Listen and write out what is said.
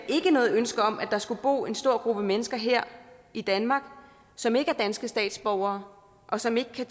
ikke noget ønske om at der skulle bo en stor gruppe mennesker her i danmark som ikke er danske statsborgere og som ikke kan